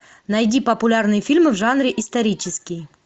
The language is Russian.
найди популярные фильмы в жанре исторический